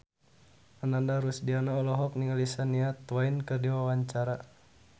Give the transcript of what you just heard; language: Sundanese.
Ananda Rusdiana olohok ningali Shania Twain keur diwawancara